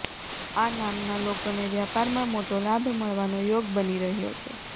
આ નામ ના લોકો ને વ્યાપાર માં મોટો લાભ મળવા નો યોગ બની રહ્યો છે